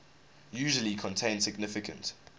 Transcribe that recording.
usually contain significant